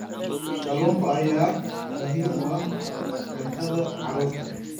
Kalluunka ayaa muhiim u ah cuntada carruurta.